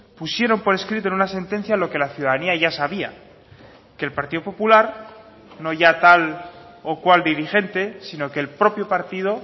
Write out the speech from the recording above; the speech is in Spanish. pusieron por escrito en una sentencia lo que la ciudadanía ya sabía que el partido popular no ya tal o cual dirigente sino que el propio partido